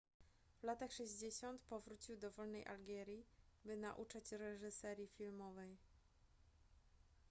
w latach 60 powrócił do wolnej algierii by nauczać reżyserii filmowej